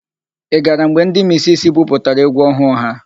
Ị gara mgbe ndị misisi buputara égwú ọhụụ ha?